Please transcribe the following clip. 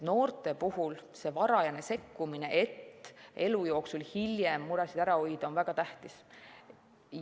Noorte puhul on varajane sekkumine, et hilisemas elus muresid ära hoida, väga tähtis.